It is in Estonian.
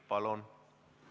Palun!